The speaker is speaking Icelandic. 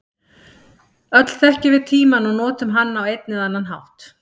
Öll þekkjum við tímann og notum hann á einn eða annan hátt.